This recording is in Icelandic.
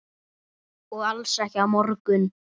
Og alls ekki á morgun.